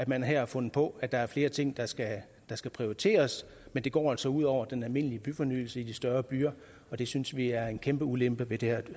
man har her fundet på at der er flere ting der skal prioriteres men det går altså ud over den almindelige byfornyelse i de større byer og det synes vi er en kæmpe ulempe ved det her